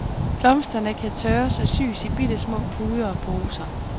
Blomsterne kan tørres og sys i bittesmå puder og poser.